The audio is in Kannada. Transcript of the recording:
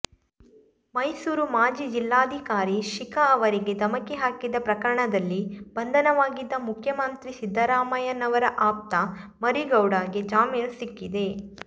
ಮೈಸೂರು ಮಾಜಿ ಜಿಲ್ಲಾಧಿಕಾರಿ ಶಿಖಾ ಅವರಿಗೆ ಧಮಕಿ ಹಾಕಿದ್ದ ಪ್ರಕರಣದಲ್ಲಿ ಬಂಧನವಾಗಿದ್ದ ಮುಖ್ಯಮಂತ್ರಿ ಸಿದ್ದರಾಮಯ್ಯನವರ ಆಪ್ತ ಮರಿಗೌಡಗೆ ಜಾಮೀನು ಸಿಕ್ಕಿದೆ